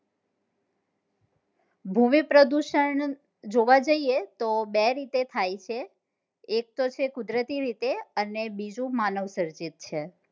ભૂમિ પ્રદુષણ જોવા જઈએ તો બે રીતે થાય છે એક તો છે કુદરતી રીતે અને બીજું માનવ સર્જિત છે